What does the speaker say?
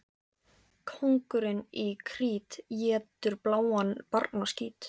Kóngurinn í Krít étur bláan barnaskít.